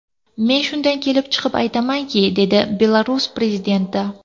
Men shundan kelib chiqib aytayapman”, dedi Belarus prezidenti.